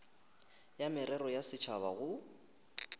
ya merero ya setšhaba go